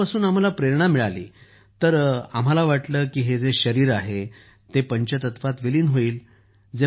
त्यांच्यापासून आम्हाला प्रेरणा मिळाली तर तेव्हा तर आम्हाला वाटलं की हे जे शरीर आहे ते तर पंचतत्वात विलीन होईल